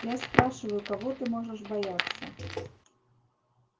я спрашиваю кого ты можешь бояться